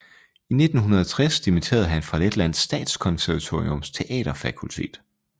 I 1960 dimiterede han fra Letlands Statskonservatoriums teaterfakultet